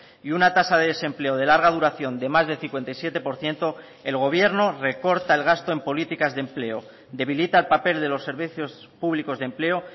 y una tasa de desempleo de larga duración de más de cincuenta y siete por ciento el gobierno recorta el gasto en políticas de empleo debilita el papel de los servicios públicos de empleo